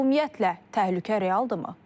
Ümumiyyətlə, təhlükə realdırmı?